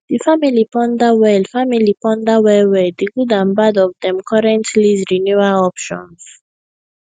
di family ponder well family ponder well well di good and bad of dem current lease renewal options